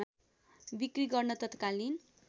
बिक्री गर्न तत्कालीन